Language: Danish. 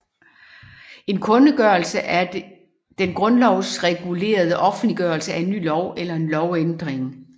En kundgørelse er den grundlovsregulerede offentliggørelse af en ny lov eller en lovændring